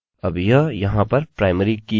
अब यह यहाँ पर प्राइमरी की है